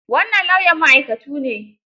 Wannan lauyan ma'aikatu ne.